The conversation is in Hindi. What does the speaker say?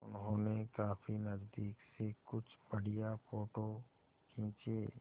उन्होंने काफी नज़दीक से कुछ बढ़िया फ़ोटो खींचे